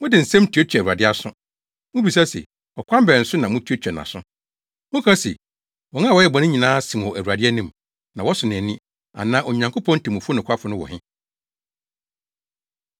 Mode mo nsɛm tuatua Awurade aso. Mubisa se, “Ɔkwan bɛn so na moatuatua nʼaso?” Moka se, “Wɔn a wɔyɛ bɔne nyinaa sen wɔ Awurade anim, na wɔsɔ nʼani,” anaa “Onyankopɔn temmufo nokwafo no wɔ he?”